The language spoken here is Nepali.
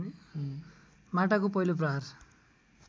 माटाको पहिलो प्रहार